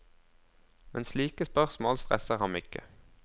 Men slike spørsmål stresser ham ikke.